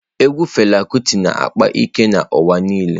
Egwu Fela Kuti na-akpa ike n'ụwa niile.